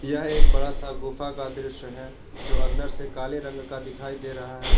यह एक बड़ा सा गुफा का दृश्य है जो अंदर से काले रंग का दिखाई दे रहा है।